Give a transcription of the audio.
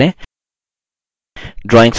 drawings में text के साथ कार्य करें